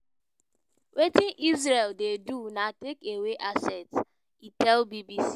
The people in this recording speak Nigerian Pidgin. "wetin israel dey do na take away assets" e tell bbc.